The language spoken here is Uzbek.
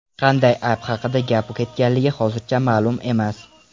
Qanday ayb haqida gap ketganligi hozircha ma’lum emas.